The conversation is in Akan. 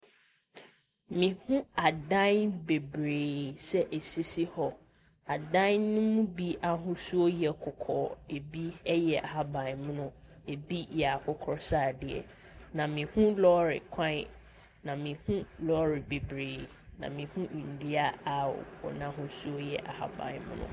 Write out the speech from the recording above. Mehunu adan bebree sɛ ɛsisi hɔ. Adan no mu bi ahosuo yɛ kɔkɔɔ. Ɛbi yɛ ɛhabammono, ɛbi yɛ akokɔsradeɛ. Na mehunu lɔɔre kwan, na mehunu lɔɔre bebree. Na mehunu nnua a wɔn ahosuo yɛ ahabammono.